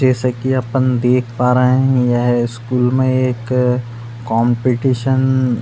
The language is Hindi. जैसा कि अपन देख पा रहे है यह स्कूल में एक कॉम्पटिशन --